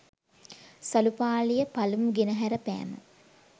සළු පාළියපළමු ගෙනහැර පෑම